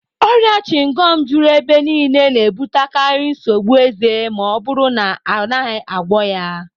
Ọrịa chịngọm juru ebe niile, na-ebutekarị nsogbu eze ma ọ bụrụ na a naghị agwọ ya